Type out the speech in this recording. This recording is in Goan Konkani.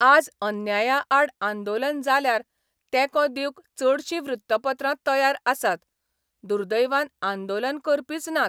आज अन्यायाआड आंदोलन जाल्यार तेंको दिवंक चडशीं वृत्तपत्रां तयार आसात, दुर्दैवान आंदोलन करपीच नात.